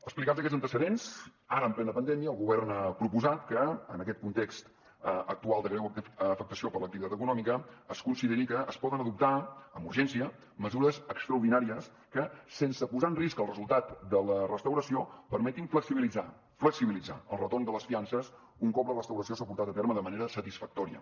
explicats aquests antecedents ara en plena pandèmia el govern ha proposat que en aquest context actual de greu afectació per a l’activitat econòmica es consideri que es poden adoptar amb urgència mesures extraordinàries que sense posar en risc el resultat de la restauració permetin flexibilitzar flexibilitzar el retorn de les fiances un cop la restauració s’ha portat a terme de manera satisfactòria